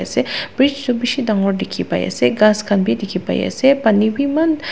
bridge toh beshi tangore teki pai ase kas kanbe teki pai ase panibe eman.